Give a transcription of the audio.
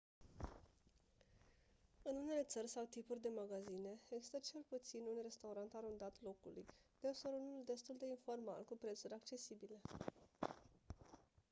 în unele țări sau tipuri de magazine există cel puțin un restaurant arondat locului deseori unul destul de informal cu prețuri accesibile